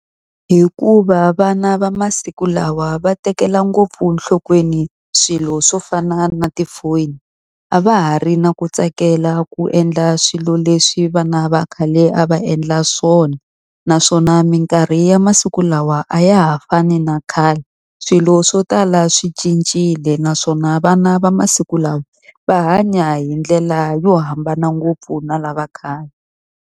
Hikuva vana va masiku lawa va tekela ngopfu enhlokweni swilo swo fana na tifoni, a va ha ri na ku tsakela ku endla swilo leswi vana va khale a va endla swona. Naswona minkarhi ya masiku lawa a ya ha fani na khale, swilo swo tala swi cincile naswona vana va masiku lawa va hanya hi ndlela yo hambana ngopfu na lava khale.